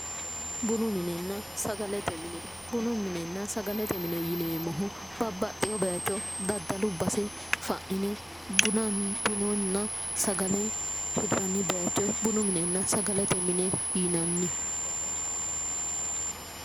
Bunu minenna sagalete mine ,bunu minenna sagalete mine yineemmohu babbaxeyo bayicho daddallu basse fa'nine bununna sagale yinnannu bayicho bununna sagalete mine yinnanni